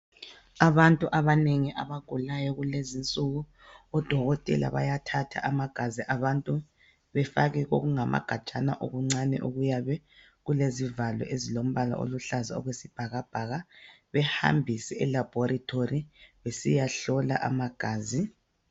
Abantu abanengi abagulayo kulezi insuku, odokotela bayathatha amagazi abantu, befake kokungamagajana okuncane, okuyabe kulezivalo, ezilombala oluhlaza okwesibhakabhaka. Behambise elaboratory. Besiyahlola amagazi.